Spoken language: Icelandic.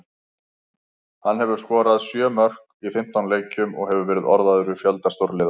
Hann hefur skorað sjö mörk í fimmtán leikjum og hefur verið orðaður við fjölda stórliða.